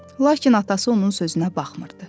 Lakin atası onun sözünə baxmırdı.